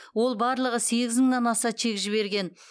ол барлығы сегіз мыңнан аса чек жіберген